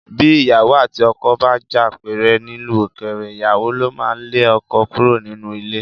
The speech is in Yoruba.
Bí ìyàwó àti ọkọ bá jà pẹ́rẹ́ nílùú òkèèrè, ìyàwó ló máa ń lé ọkọ kúrò nínú ilé